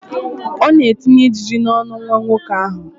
Ọ na-etinye ijiji n'ọnụ nwa nwoke ahụ.